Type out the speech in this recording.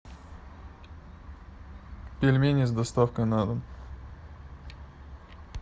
пельмени с доставкой на дом